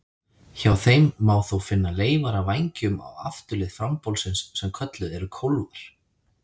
Hjá þeim má þó finna leifar af vængjum á afturlið frambolsins sem kölluð eru kólfar.